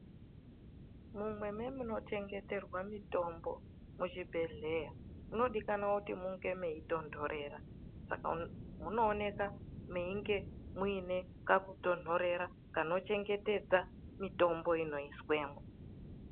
Mumweni mwemunongwaririrwa mutombo muchibhedhlera. Munodikana kuti mune mweitonthorera. Saka munooneka munge muine kakutonthorera kuti mungwarire mitombo inobekwemwo.